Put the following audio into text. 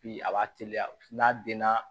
Bi a b'a teliya n'a denna